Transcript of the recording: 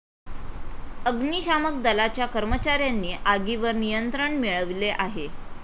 अग्निशामक दलाच्या कर्मचाऱ्यांनी आगीवर निंयत्रण मिळवले आहे.